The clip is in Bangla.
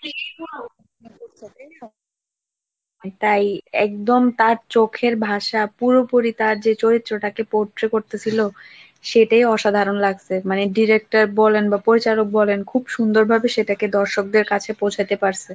তাই একদম তার চোখের ভাষা পুরোপুরি তার যে চরিত্রটাকে পড়তেছিল সেটিই অসাধারণ লাগছে মানে director বলেন বা পরিচালক বলেন খুব সুন্দরভাবে সেটাকে দর্শকদের কাছে পৌঁছাতে পারছে।